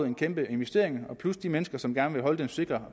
en kæmpe investering plus at de mennesker som gerne vil holde de sikre